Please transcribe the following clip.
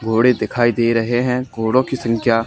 घोड़े दिखाई दे रहे हैं घोड़ों की संख्या--